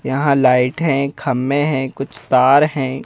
यहां लाइट हैं खम्मे हैं कुछ तार हैं।